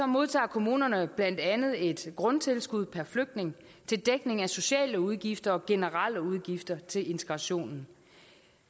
modtager kommunerne blandt andet et grundtilskud per flygtning til dækning af sociale udgifter og generelle udgifter til integrationen